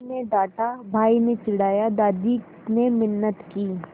माँ ने डाँटा भाई ने चिढ़ाया दादी ने मिन्नत की